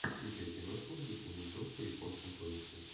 включай киношку в духе мультов по японским комиксам